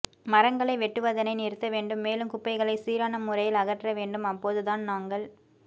மரங்களை வெட்டுவதனை நிறுத்த வேண்டும் மேலும் குப்பைகளை சீரான முறையில் அகற்ற வேண்டும் அப்போது தான் நாங்கள்